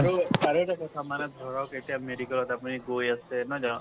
আৰু আৰু এটা কথা মানে ধৰক এতিয়া medical ত আপুনি গৈ আছে নহয় জানো।